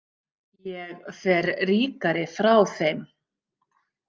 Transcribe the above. Ég fer ríkari frá þeim.